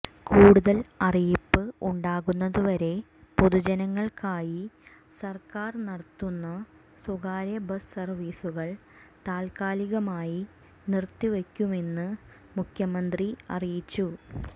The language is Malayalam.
കൂടുതൽ അറിയിപ്പ് ഉണ്ടാകുന്നതുവരെ പൊതുജനങ്ങൾക്കായി സർക്കാർ നടത്തുന്ന സ്വകാര്യ ബസ് സർവീസുകൾ താൽക്കാലികമായി നിർത്തിവയ്ക്കുമെന്നും മുഖ്യമന്ത്രി അറിയിച്ചു